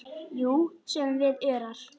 Jú, sögðum við örar.